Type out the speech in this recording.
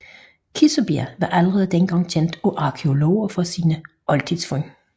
Kissebjerg var allerede dengang kendt af arkæologer for sine oldtidsfund